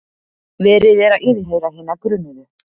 Verið er að yfirheyra hina grunuðu